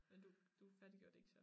Men du du færdiggjorde det ikke så